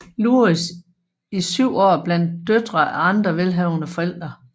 Louis i 7 år blandt døtre af andre velhavende forældre